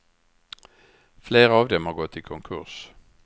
Flera av dem har gått i konkurs.